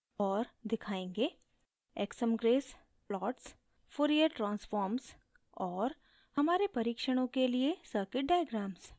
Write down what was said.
और दिखायेंगे: